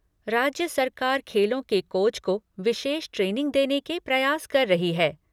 राज्य सरकार खेलों के कोच को विशेष ट्रेनिंग देने के प्रयास कर रही है।